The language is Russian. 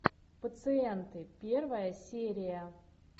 пациенты первая серия